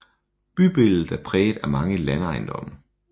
Bybilledet er præget af mange landejendomme